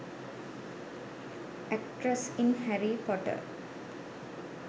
actress in harry potter